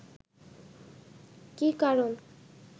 কি কারণ